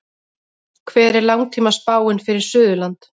hver er langtímaspáin fyrir suðurland